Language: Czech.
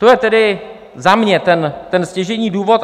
To je tedy za mě ten stěžejní důvod.